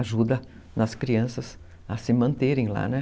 Ajuda as crianças a se manterem lá, né?